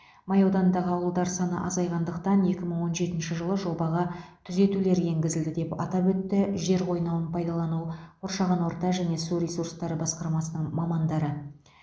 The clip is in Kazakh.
май ауданындағы ауылдар саны азайғандықтан екі мың он жетінші жылы жобаға түзетулер енгізілді деп атап өтті жер қойнауын пайдалану қоршаған орта және су ресурстары басқармасының мамандары